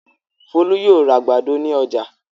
Folú yóò ra àgbàdo ní ọjà.